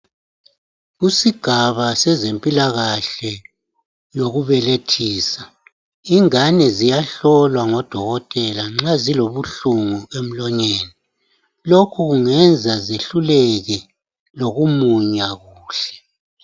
Kusigaba sezempilakahle yokubelethisa, ingane ziyahlolwa ngodokotela nxa zilobuhlungu emlonyeni. Lokhu kungenza zehluleke lokumunya kuhle.